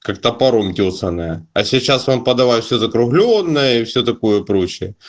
как топором тёсаное а сейчас вам подавай все закруглённое и все такое прочее